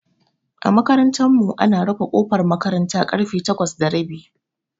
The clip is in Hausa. A makarantar mu ana rufe kofar makaranta karfe takwas da rabi